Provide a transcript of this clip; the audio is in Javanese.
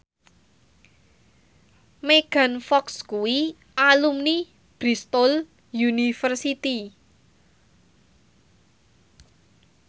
Megan Fox kuwi alumni Bristol university